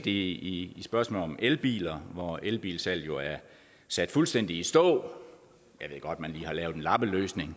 i spørgsmålet om elbiler hvor elbilsalget jo er sat fuldstændig i stå jeg ved godt man lige har lavet en lappeløsning